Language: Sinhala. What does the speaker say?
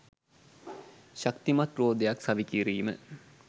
ශක්තිමත් රෝදයක් සවිකිරීම